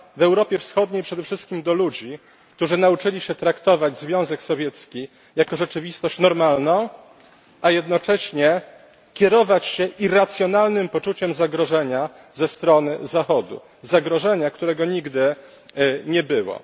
W Europie Wschodniej przede wszystkim do ludzi, którzy nauczyli się traktować Związek Sowiecki jako rzeczywistość normalną, a jednocześnie kierować się irracjonalnym poczuciem zagrożenia ze strony Zachodu, zagrożenia którego nigdy nie było.